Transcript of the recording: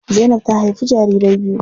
Zainab ta haifi jarirai biyu.